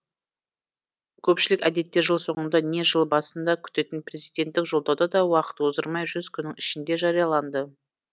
көпшілік әдетте жыл соңында не жыл басында күтетін президенттік жолдау да уақыт оздырмай жүз күннің ішінде жарияланды